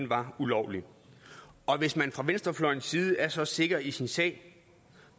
var ulovlig og hvis man fra venstrefløjens side er så sikker i sin sag